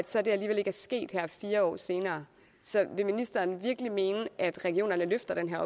så alligevel ikke sket her fire år senere så vil ministeren virkelig mene at regionerne løfter den